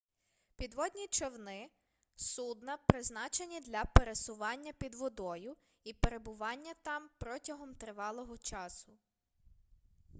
підводні човни судна призначені для пересування під водою і перебування там протягом тривалого часу